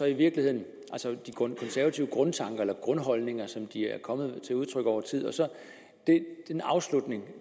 i virkeligheden de konservative grundtanker eller grundholdninger som de er kommet til udtryk over tid og så den afslutning